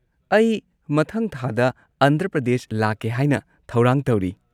ꯑꯩ ꯃꯊꯪ ꯊꯥꯗ ꯑꯟꯙ꯭ꯔ ꯄ꯭ꯔꯗꯦꯁ ꯂꯥꯛꯀꯦ ꯍꯥꯏꯅ ꯊꯧꯔꯥꯡ ꯇꯧꯔꯤ꯫